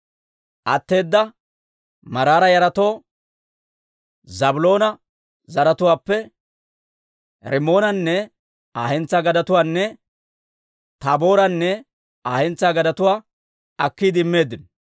Atteeda Maraara yaratoo Zaabiloona zaratuwaappe Rimmoonanne Aa hentsaa gadetuwaanne Taabooranne Aa hentsaa gadetuwaa akkiide immeeddino.